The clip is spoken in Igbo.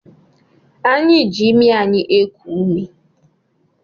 Anyị ji imi anyị eku ume